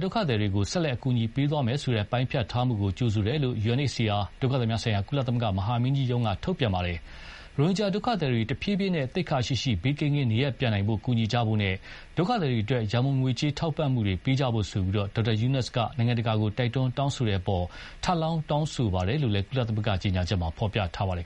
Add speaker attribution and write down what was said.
Speaker 1: ဒုက္ခသည်တွေကိုဆက်လက်အကူအညီပေးသွားမယ်ဆိုတဲ့ပိုင်းဖြတ်ထားမှုကို ကြိုဆိုတယ်လို့ UNHCR ဒုက္ခသည်များဆိုင်ရာ ကုလမဟာမင်းကြီးရုံးက ထုတ်ပြန်ပါတယ်။ ရိုဟင်ဂျာဒုက္ခသည်တွေ တဖြေးဖြေးနဲ့ သိက္ခာရှိရှိ ဘေးကင်းကင်း နေရပ်ပြန်နိုင်ဖို့ကူညီကြဖို့နဲ့ ဒုက္ခသည်တွေအတွက် ငွေကြေး ရံပုံငွေထောက်ပံ့မှုတွေ ပေးကြဖို့ Dr. Yunus က နိုင်ငံတကာကို တိုက်တွန်းတောင်းဆိုမှုအပေါ်မှာ ထပ်လောင်းထောက်ခံပါတယ်လို့လည်း ကုလ
Speaker 2: ကြေညာချက်မှာဖော်ပြပါတယ်